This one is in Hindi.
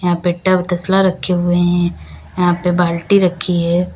यहां पे टब तस्ला रखे हुए हैं। यहां पे बाल्टी रखी है।